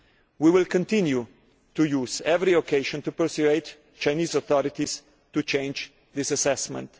We will continue to use every occasion to persuade the Chinese authorities to change this assessment.